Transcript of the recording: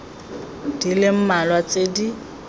di le mmalwa tse di